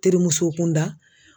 Terimuso kunda